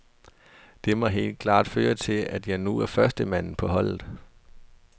Det må helt klart føre til, at jeg nu er førstemanden på holdet.